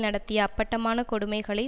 நடத்திய அப்பட்டமான கொடுமைகளை